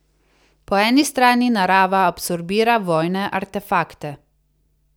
Po eni strani narava absorbira vojne artefakte.